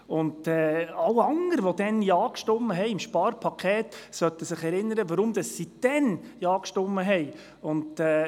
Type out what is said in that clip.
Alle anderen, die zum Sparpaket Ja gestimmt hatten, sollten sich daran erinnern, weshalb sie damals Ja stimmten.